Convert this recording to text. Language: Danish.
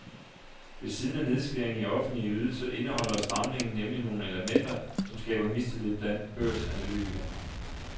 Ved siden af nedskæringer i offentlige ydelser indeholder stramningen nemlig nogle elementer, som skaber mistillid blandt børsanalytikerne.